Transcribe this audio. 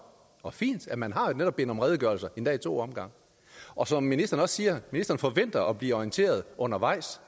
og fint at man netop har bedt om redegørelser endda i to omgange og som ministeren også siger forventer ministeren at blive orienteret undervejs